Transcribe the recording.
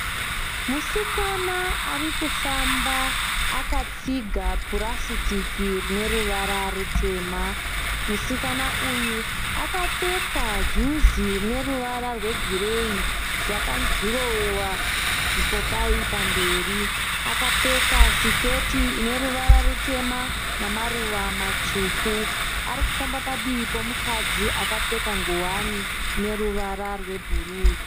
Musikana arikufamba akatsiga purasitiki rine ruvara rutema. Musikana uyu akapfeka juzi rine ruvara rwe gireyi rwaka dhurowewa zvipopai pamberi. Akapfeka siketi ine ruvara rutema namaruva matsvuku. Arikufamba padivi pemukadzi akapfeka nguwani ine ruwara rwe bhuruu.